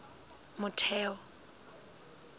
motheo